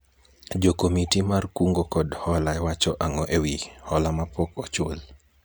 jokomiti mar kungo kod hola wacho ang'o ewi hola mapok ochul ?